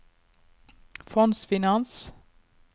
fondsfinans